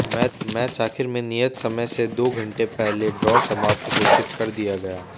match आखिर में नियत समय से दो घंटे पहले ड्रा समाप्त घोषित कर दिया गया